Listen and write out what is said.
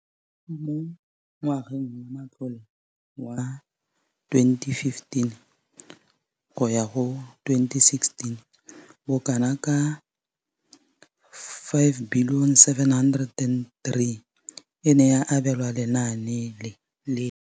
Mo ngwageng wa matlole wa 2015 le 2016, bokanaka R5 703 bilione e ne ya abelwa lenaane leno.